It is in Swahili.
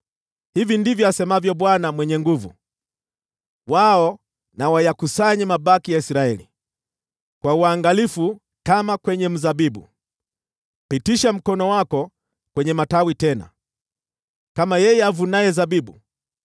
Hivi ndivyo asemavyo Bwana Mwenye Nguvu Zote: “Wao na wayakusanye mabaki ya Israeli kwa uangalifu kama kwenye mzabibu; pitisha mkono wako kwenye matawi tena, kama yeye avunaye zabibu.”